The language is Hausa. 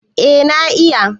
eh na iya